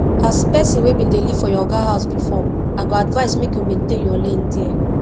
as person wey bin dey live for your oga house before i go advise make you maintain your lane there